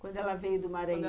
Quando ela veio do Mara